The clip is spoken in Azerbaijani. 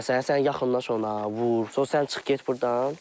Məsələn, sən yaxınlaş ona, vur, sonra sən çıx get burdan.